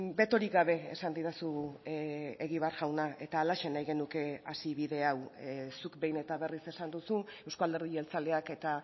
betorik gabe esan didazu egibar jauna eta halaxe nahi genuke hasi bide hau zuk behin eta berriz esan duzu euzko alderdi jeltzaleak eta